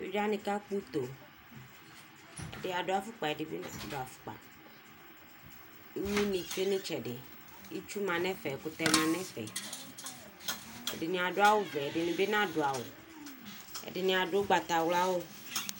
Evidzewani akpɔ uto ɛdini adu afokpa ɛdini bi nadu afokpa ma nu itsɛdi ɛkutɛ ɛdini adu awu wɛ ɛdini bi nadu awu ɛdini adu ugbatawla awu